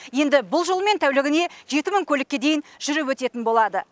енді бұл жолмен тәулігіне жеті мың көлікке дейін жүріп өтетін болады